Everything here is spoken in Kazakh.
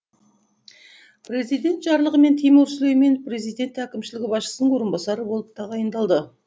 президент жарлығымен тимур сүлейменов президент әкімшілігі басшысының орынбасары болып тағайындалды